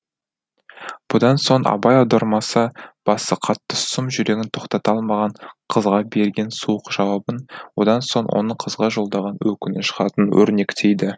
бұдан соң абай аудармасы басы қатты сұм жүрегін тоқтата алмаған қызға берген суық жауабын одан соң оның қызға жолдаған өкініш хатын өрнектейді